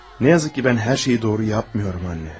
Təəssüf ki, mən hər şeyi doğru etmirəm ana.